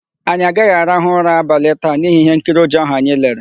Anyị agaghị arahụ ụra abalị taa n'ihi íhénkiri ụjọ áhụ̀ anyị lere.